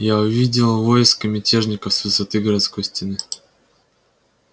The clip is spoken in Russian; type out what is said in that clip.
я увидел войско мятежников с высоты городской стены